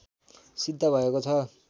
सिद्ध भएको छ